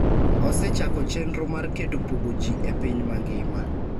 osechako chenro mar keto pogo ji e piny mangima.